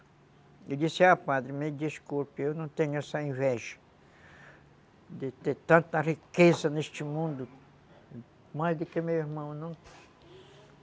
E disse, ah, padre, me desculpe, eu não tenho essa inveja de ter tanta riqueza neste mundo, mais do que meu irmão